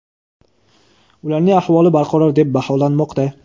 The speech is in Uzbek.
ularning ahvoli barqaror deb baholanmoqda.